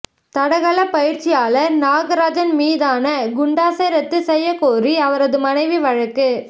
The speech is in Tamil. தடகள பயிற்சியாளர் நாகராஜன் மீதான குண்டாசை ரத்து செய்ய கோரி அவரது மனைவி வழக்கு